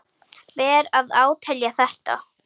Ber að átelja þetta.